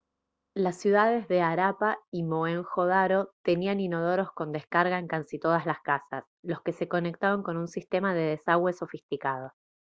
las ciudades de harappa y mohenjo-daro tenían inodoros con descarga en casi todas las casas los que se conectaban con un sistema de desagüe sofisticado